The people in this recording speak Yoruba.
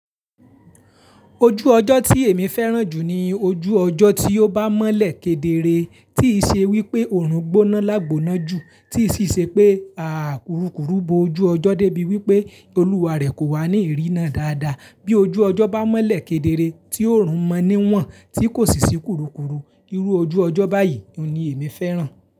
Ojú ọjọ́ tí èmi fẹ́ràn jù ni ojú ọjọ́ tí ó bá mọ́lẹ̀ kedere, tí í ṣe wípé òórùn gbóná lágbóná jù, tí sì ṣe pé a kùrukùru bo ojú ọjọ́ débi wípé olúwa rẹ̀ kò wá ní ìrína dáadáa. Bí ojú ọjọ́ bá mọ́lẹ̀ kedere tí òórùn mọ́ níwọ̀n, tí kò sì sí kúrukùru, irú ojú ọjọ́ báyìí oun ni èmi fẹ́ràn.